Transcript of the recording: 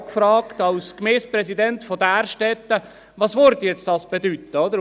Ich fragte als Gemeindepräsident von Därstetten, was dies bedeuten würde.